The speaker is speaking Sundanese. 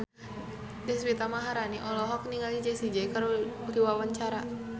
Deswita Maharani olohok ningali Jessie J keur diwawancara